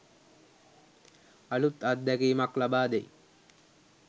අලූත් අත්දැකීමක් ලබාදෙයි.